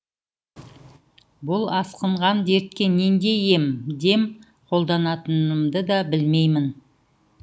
бұл асқынған дертке нендей ем дем қолданатынымды да білмеймін